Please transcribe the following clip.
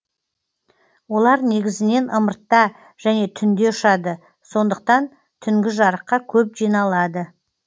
олар негізінен ымыртта және түнде ұшады сондықтан түнгі жарыққа көп жиналады